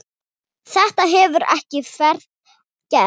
Þetta hefur ekki verið gert.